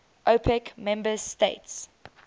opec member states